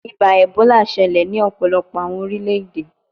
Iba Ebola ṣẹlẹ ni ọpọlọpọ awọn orilẹ-ede